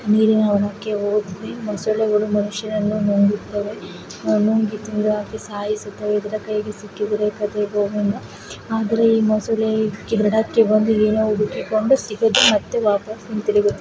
ನೀರಿನ ಒಳಕ್ಕೆ ಹೋದರೆ ಮೊಸಳೆಗಳು ಮನುಷ್ಯನನ್ನು ನುಂಗುತ್ತವೆ ನುಂಗಿ ತಿಂದಾಕಿ ಸಾಯಿಸುತ್ತವೆ ಇದರ ಕೈಗೆ ಸಿಕ್ಕಿದ ಗೋವಿಂದ ಆದರೆ ಈ ಮೊಸಳೆ ದಡಕ್ಕೆ ಬಂದು ಏನೋ ಹುಡುಕಿಕೊಂಡು ಸಿಗದೇ ಮತ್ತೆ ವಾಪಸ್ ಹಿಂತಿರುಗಿದೆ.